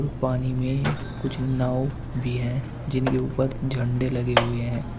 पानी में कुछ नाव भी है जिनके ऊपर झंडा लगे हुए हैं।